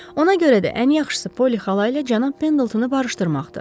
Ona görə də ən yaxşısı Polly xala ilə cənab Pendletonu barışdırmaqdır.